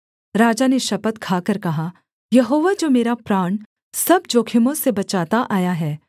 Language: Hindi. राजा ने शपथ खाकर कहा यहोवा जो मेरा प्राण सब जोखिमों से बचाता आया है